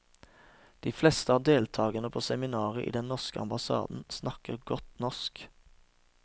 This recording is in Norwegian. De fleste av deltagerne på seminaret i den norske ambassaden snakker godt norsk.